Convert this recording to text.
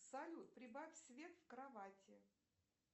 салют прибавь свет в кровати